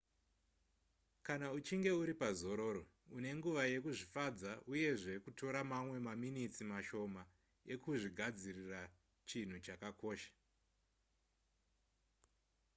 kana uchinge uri pazororo une nguva yekuzvifadza uyezve kutora mamwe maminitsi mashoma ekuzvigadzirira chinhu chakakosha